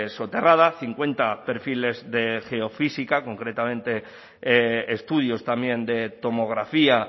soterrada cincuenta perfiles de geofísica concretamente estudios también de tomografía